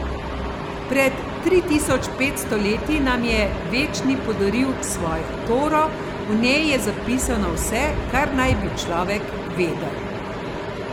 Pred tri tisoč petsto leti nam je Večni podaril Svojo Toro, v njej je zapisano vse, kar naj bi človek vedel.